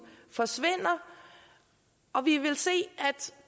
forsvinder og vi vil se at